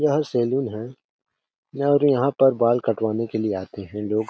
यह सैलून है और यहाँ पर बाल कटवाने के लिए आते है लोग--